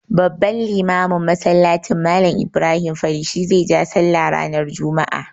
Babban limamin masallacin, Mallam Ibrahim Fari shi zai ja sallah ranar juma'a.